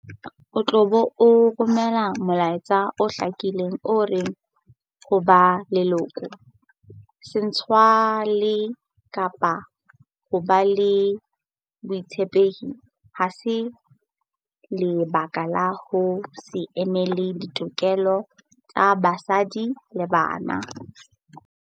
O tla be o romela molaetsa o hlakileng o reng ho ba leloko, setswalle kapa ho ba le botshepehi ha se lebaka la ho se emele ditokelo tsa basadi le bana.